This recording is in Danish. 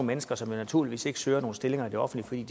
mennesker som jo naturligvis ikke søger nogen stillinger i det offentlige